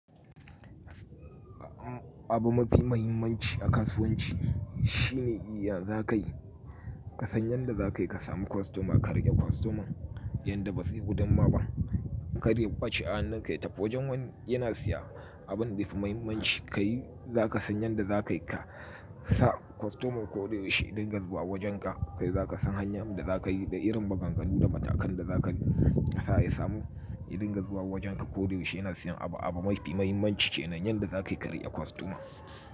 Abu mafi mahimmanci a kasuwanci shine yanzun kai ka san yanda za ka yi ka sami kwastoma ka riƙe kwastoman yanda ba zai gudumma ba kar ya kwace a hannunka ya tafi wajen wani yana siya abin da yafi mahimmanci kayi. Za ka san yanda za ka yi ka sa kwastoman ko da yaushe ya dinga zuwa wajen ka kai za ka san hanyan da za ka yi da irin maganganu da matakan da za ka sa ya samu yadinga zuwa wajen ka ko da yaushe yana siyan abu a abu mafi mahimmanci ce kenan yanda za ka yi ka riƙe kwastoma.